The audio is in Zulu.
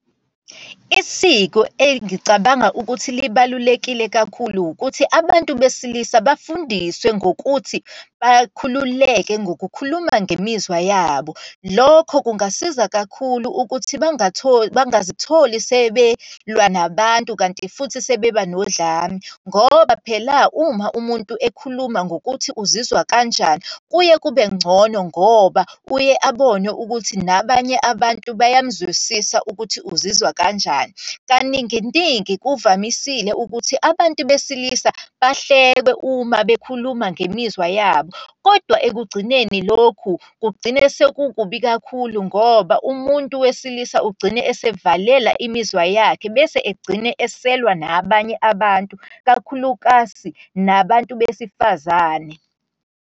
Isiko engicabanga ukuthi libalulekile kakhulu ukuthi, abantu besilisa bafundiswe ngokuthi bakhululeke ngokukhuluma ngemizwa yabo. Lokho kungasiza kakhulu ukuthi bangazitholi sebelwa nabantu, kanti futhi sebebanodlame. Ngoba phela uma umuntu ekhuluma ngokuthi uzizwa kanjani, kuye kube ngcono ngoba uye abone ukuthi nabanye abantu bayamzwisisa ukuthi uzizwa kanjani. Kaninginingi kuvamisile ukuthi abantu besilisa bahlekwe uma bekhuluma ngemizwa yabo. Kodwa ekugcineni lokhu kugcine sekukubi kakhulu, ngoba umuntu wesilisa ugcine esevalela imizwa yakhe, bese egcine eselwa nabanye abantu, kakhulukazi nabantu besifazane.